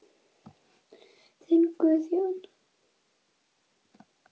Þinn Guðjón.